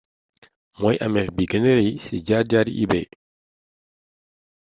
mooy amef bi gëna rey ci jaar jaaru ebay